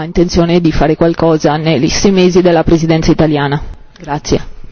Chiedo se il collega ha intenzione di fare qualcosa nei sei mesi della Presidenza italiana.